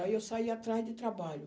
Aí eu saí atrás de trabalho.